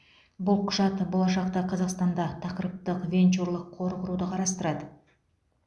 бұл құжат болашақта қазақстанда тақырыптық венчурлық қор құруды қарастырады